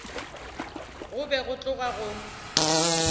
go be go tloga go